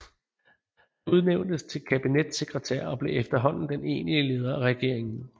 Han udnævntes til kabinetssekretær og blev efterhånden den egentlige leder af regeringen